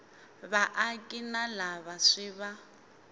vaaki na lava swi va